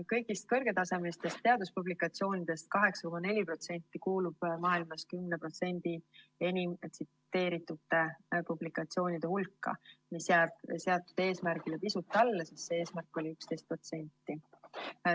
Kõigist kõrgetasemelistest teaduspublikatsioonidest 8,4% kuulub maailmas 10% enim tsiteeritud teaduspublikatsioonide hulka, mis jääb seatud eesmärgile pisut alla, sest see eesmärk oli 11%.